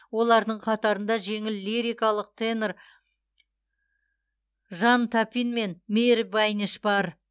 олардың қатарында жеңіл лирикалық тенор жан тапин мен мейір байнеш бар